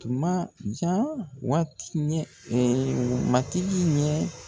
Majan waati ɲɛ matigi ye.